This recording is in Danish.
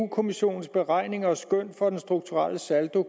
kommissionens beregninger og skøn for den strukturelle saldo